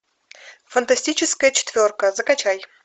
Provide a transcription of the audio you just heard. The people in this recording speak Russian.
фантастическая четверка закачай